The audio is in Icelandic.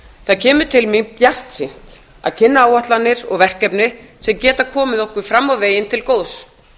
það kemur til mín bjartsýnt að kynna áætlanir og verkefni sem geta komið okkur fram á veginn til góðs